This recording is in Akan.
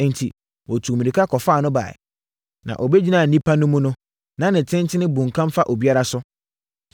Enti, wɔtuu mmirika kɔfaa no baeɛ. Na ɔbɛgyinaa nnipa no mu no na ne tenten bunkam fa obiara so.